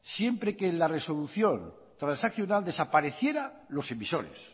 siempre que en la resolución transaccional desapareciera los emisores